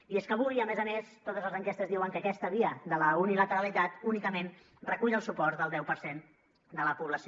i és que avui a més a més totes les enquestes diuen que aquesta via de la unilateralitat únicament recull el suport del deu per cent de la població